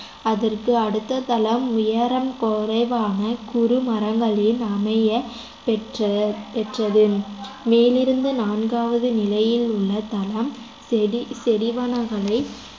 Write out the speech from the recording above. அதற்கு அடுத்த தளம் உயரம் குறைவான குறு மரங்களின் அமையப் பெற்ற பெற்றது மேலிருந்து நான்காவது நிலையில் உள்ள தளம் செடி செடிவனகளை